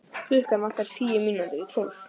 Klukkuna vantaði tíu mínútur í tólf.